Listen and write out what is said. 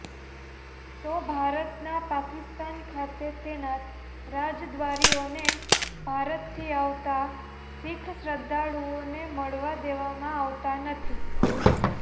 તો ભારતના પાકિસ્તાન ખાતે તેનાત રાજદ્વારીઓને ભારતથી આવતા શીખ શ્રદ્ધાળુઓને મળવા દેવામાં આવતા નથી